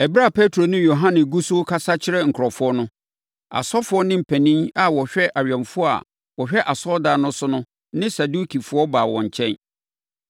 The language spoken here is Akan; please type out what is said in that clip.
Ɛberɛ a Petro ne Yohane gu so rekasa akyerɛ nkurɔfoɔ no, asɔfoɔ ne ɔpanin a ɔhwɛ awɛmfoɔ a wɔhwɛ asɔredan no so no ne Sadukifoɔ baa wɔn nkyɛn.